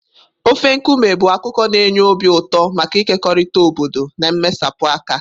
Ofe nkume bụ akụkọ na-enye obi ụtọ maka ịkekọrịta obodo na mmesapụ aka.